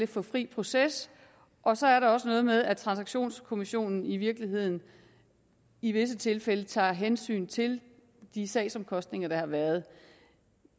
få fri proces og så er der også noget med at taksationskommissionen i virkeligheden i visse tilfælde tager hensyn til de sagsomkostninger der har været